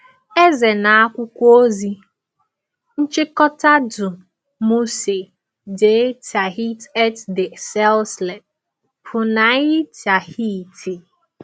Eze na akwụkwọ ozi: Nchịkọta du Musée de Tahiti et de ses Îles, Punaauia, Tahiti.